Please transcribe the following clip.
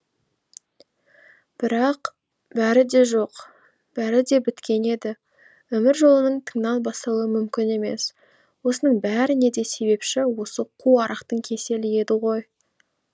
бірақ бәрі де жоқ бәрі де біткен еді өмір жолының тыңнан басталуы мүмкін емес осының бәріне де себепші осы қу арақтың кеселі еді ғой